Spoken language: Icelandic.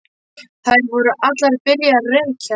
Þær voru allar byrjaðar að reykja.